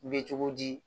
Bɛ cogo di